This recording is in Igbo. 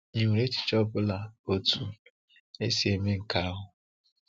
Ị nwere echiche ọ bụla otu esi eme nke ahụ?